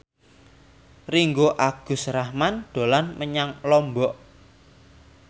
Ringgo Agus Rahman dolan menyang Lombok